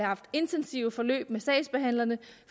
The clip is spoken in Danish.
haft intensive forløb med sagsbehandlerne